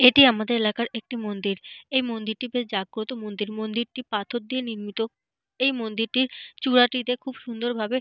এটি আমাদের এলাকার একটি মন্দির। এই মন্দিরটি বেশ জাগ্রত মন্দির। মন্দিরটি পাথর দিয়ে নির্মিত। এই মন্দিরটির চূড়াটিতে খুব সুন্দর ভাবে।